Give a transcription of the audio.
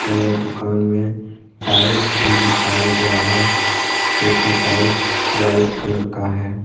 यह दुकान में टाइल्स भी बिछाया गया है जो की टाइल्स व्हाइट कलर का है।